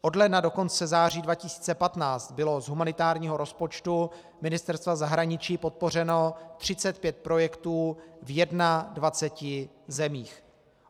Od ledna do konce září 2015 bylo z humanitárního rozpočtu Ministerstva zahraničí podpořeno 35 projektů v 21 zemích.